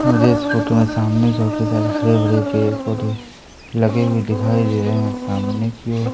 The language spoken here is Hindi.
मुझे एक फोटो में सामने काफी सारे हरे भरे पेड़ पौधे लगे हुए दिखाई दे रहे हैं सामने की ओ--